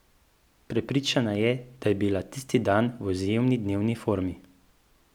Prepričana je, da je bila tisti dan v izjemni dnevni formi.